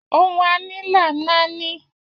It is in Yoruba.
Ohun a ní là ń náání